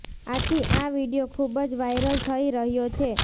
આથી આ વીડિયો ખૂબ જ વાયરલ થઈ રહ્યો છે